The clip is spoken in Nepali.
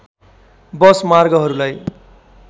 बस मार्गहरूलाई